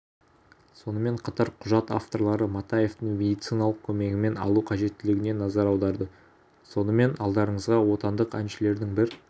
сонымен қатар құжат авторлары матаевтің медициналық көмегін алу қажеттілігіне назар аударды сонымен алдарыңызға отандық әншілердің бір